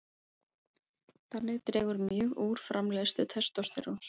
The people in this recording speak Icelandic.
Þannig dregur hún mjög úr framleiðslu testósteróns.